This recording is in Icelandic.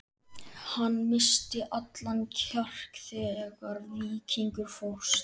Hann missti allan kjark þegar Víkingur fórst.